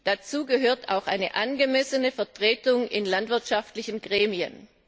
Dazu gehört auch eine angemessene Vertretung in landwirtschaftlichen Gremien.